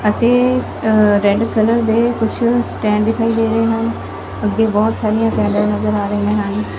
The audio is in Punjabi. ਅਤੇ ਰੈਡ ਕਲਰ ਦੇ ਕੁਛ ਸਟੈਂਡ ਦਿਖਾਈ ਦੇ ਰਹੇ ਹਨ ਅੱਗੇ ਬਹੁਤ ਸਾਰੀਆਂ ਨਜ਼ਰ ਆ ਰਹੀਆਂ ਹਨ।